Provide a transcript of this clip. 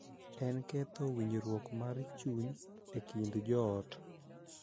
En ketho winjruok mar chuny e kind joot.